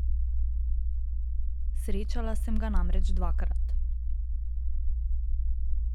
Srečala sem ga namreč dvakrat.